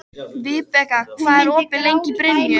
Vibeka, hvað er opið lengi í Brynju?